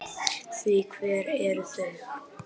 Því hver eru þau?